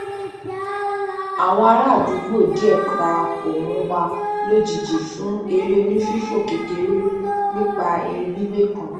àwọn ará àdúgbò díẹ dára pọ mọ wa lójijì fún eré onífífò kékeré nípa ìrìn ẹgbẹ kan